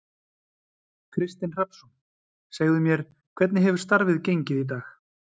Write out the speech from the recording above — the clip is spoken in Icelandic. Kristinn Hrafnsson: Segðu mér, hvernig hefur starfið gengið í dag?